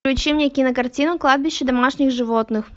включи мне кинокартину кладбище домашних животных